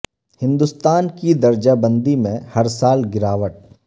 ہند وستان کی درجہ بندی میں ہر سال گراوٹ